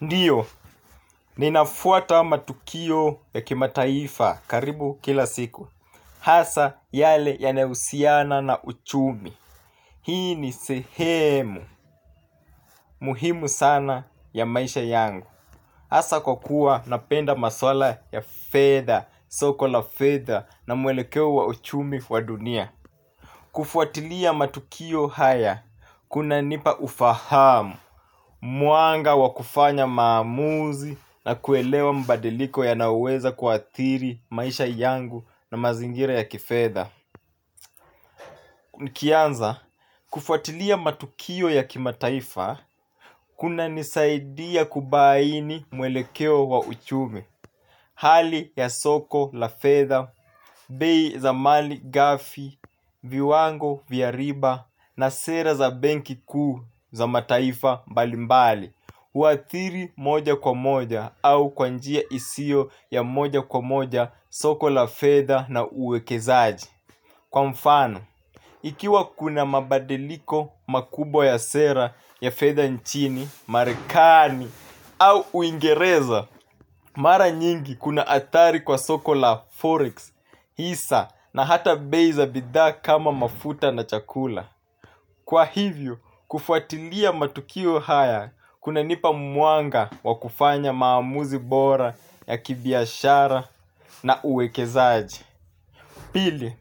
Ndiyo, ninafuata matukio ya kimataifa karibu kila siku. Hasaa yale yanayo husiana na uchumi. Hii ni sehemu, muhimu sana ya maisha yangu. Hasa kwa kuwa napenda maswala ya fedha, soko la fedha na mwelekeo wa uchumi wa dunia. Kufuatilia matukio haya, kuna nipa ufahamu. Mwanga wakufanya maamuzi na kuelewa mbadiliko yanayoweza kuathiri maisha yangu na mazingira ya kifedha. Nikianza, kufuatilia matukio ya kimataifa, kuna nisaidia kubaini mwelekeo wa uchumi. Hali ya soko la fedha, bei za mali gafi, viwango vya riba na sera za benki kuu za mataifa mbalimbali. Uathiri moja kwa moja au kwanjia isio ya moja kwa moja soko la fedha na uwekezaji. Kwa mfano, ikiwa kuna mabadiliko makubwa ya sera ya fedha nchini, marekani au uingereza mara nyingi kuna athari kwa soko la forex, hisa na hata bei za bidhaa kama mafuta na chakula. Kwa hivyo, kufuatilia matukio haya kuna nipa mwanga wa kufanya maamuzi bora ya kibiashara na uwekezaaji. Pili,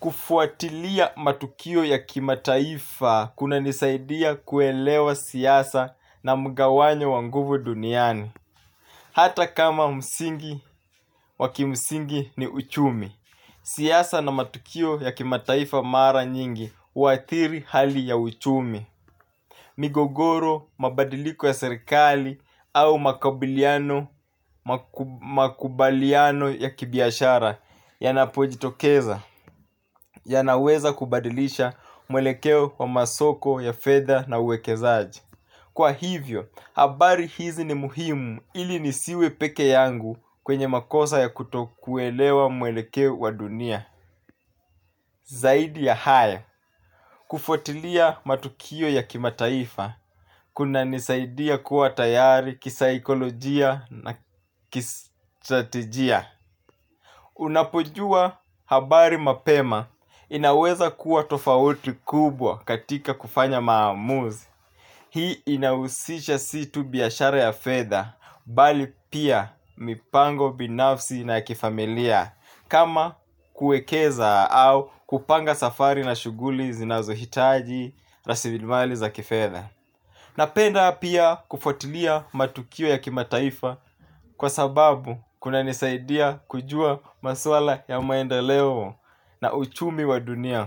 kufuatilia matukio ya kimataifa kuna nisaidia kuelewa siasa na mgawanyo wa nguvu duniani. Hata kama msingi wakimsingi ni uchumi. Siasa na matukio ya kimataifa mara nyingi uathiri hali ya uchumi. Migogoro, mabadiliko ya serikali au makubaliano ya kibiashara ya napojitokeza ya naweza kubadilisha mwelekeo wa masoko ya fedha na uwekezaaji. Kwa hivyo, habari hizi ni muhimu ili nisiwe peke yangu kwenye makosa ya kutokuelewa mwelekeo wa dunia zaidi ya haya kufuatilia matukio ya kimataifa kunanisaidia kuwa tayari kisakolojia na kistrategia. Unapojua habari mapema inaweza kuwa tofauti kubwa katika kufanya maamuzi. Hii inausisha situ biashara ya fedha mbali pia mipango binafsi na kifamilia. Kama kuekeza au kupanga safari na shughuli zinazohitaji rasilimali za kifedha napenda pia kufuatilia matukio ya kimataifa kwa sababu kunanisaidia kujua maswala ya maendeleo na uchumi wa dunia.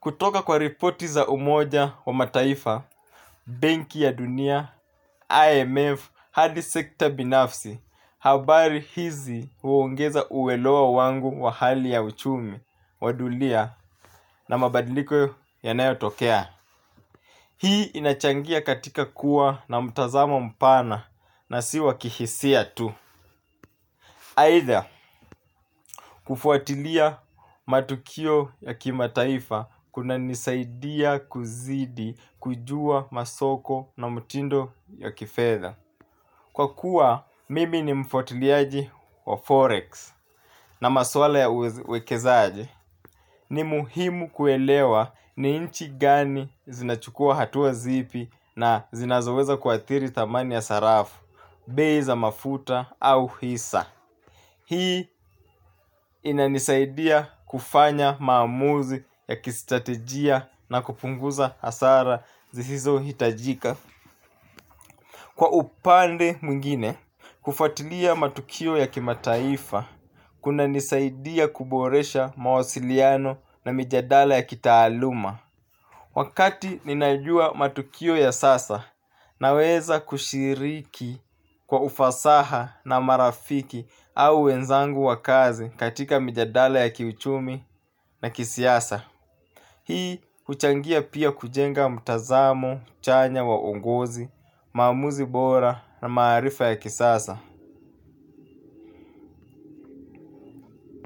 Kutoka kwa ripoti za umoja wa mataifa, benki ya dunia, IMF, hard sector binafsi, habari hizi uongeza uelewa wangu wa hali ya uchumi, wadunia na mabadiliko ya nayo tokea. Hii inachangia katika kuwa na mtazamo mpana na siwa kihisia tu. Aidha kufuatilia matukio ya kimataifa kuna nisaidia kuzidi kujua masoko na mtindo ya kifedha kwa kuwa mimi ni mfwatiliaji wa Forex na maswala ya uwekezaaji ni muhimu kuelewa ni inchi gani zinachukua hatua zipi na zinazoweza kuathiri thamani ya sarafu, bei za mafuta au hisa. Hii inanisaidia kufanya maamuzi ya kistratejia na kupunguza hasara zisizo hitajika. Kwa upande mwingine, kufuatilia matukio ya kimataifa, kuna nisaidia kuboresha mawasiliano na mijadala ya kitaaluma. Wakati ninajua matukio ya sasa na weza kushiriki kwa ufasaha na marafiki au wenzangu wa kazi katika mijadala ya kiuchumi na kisiasa. Hii huchangia pia kujenga mtazamo, chanya wa uongozi, maamuzi bora na maarifa ya kisasa.